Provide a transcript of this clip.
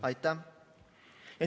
Aitäh!